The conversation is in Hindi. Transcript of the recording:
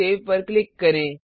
सेव पर क्लिक करें